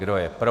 Kdo je pro?